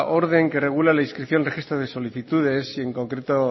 orden que regula la inscripción registros de solicitudes y en concreto